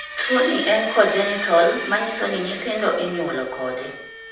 Tuo ni en congenital manyiso ni nyithindo inyuolo kode